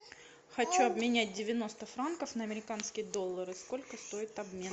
хочу обменять девяносто франков на американские доллары сколько стоит обмен